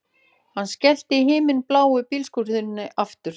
Hann skellti himinbláu bílhurðinni aftur